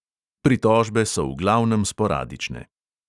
Pritožbe so v glavnem sporadične.